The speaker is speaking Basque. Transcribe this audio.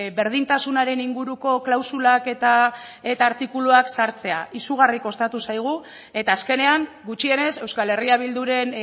berdintasunaren inguruko klausulak eta artikuluak sartzea izugarri kostatu zaigu eta azkenean gutxienez euskal herria bilduren